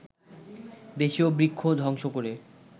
দেশীয় বৃক্ষ ধ্বংস করে